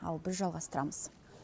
ал біз жалғастырамыз